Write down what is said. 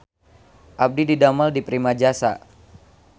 Abdi didamel di Primajasa